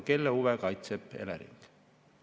Kelle huve kaitseb Elering?